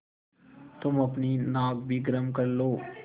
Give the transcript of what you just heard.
तुम अपनी नाक भी गरम कर लो